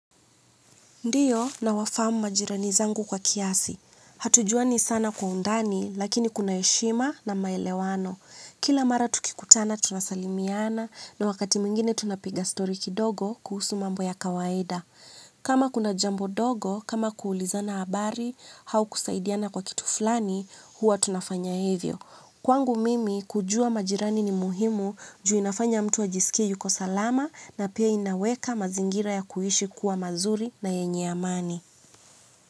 Ndio nawafahamu majirani zangu kwa kiasi. Hatujuani sana kwa undani lakini kuna heshima na maelewano kila mara tukikutana tunasalimiana na wakati mwingine tunapiga story kidogo kuhusu mambo ya kawaida. Kama kuna jambo dogo, kama kuulizana habari, hau kusaidiana kwa kitu fulani, huwa tunafanya hivyo. Kwangu mimi kujua majirani ni muhimu juu inafanya mtu ajisikie yuko salama na pia inaweka mazingira ya kuishi kuwa mazuri na yenye amani.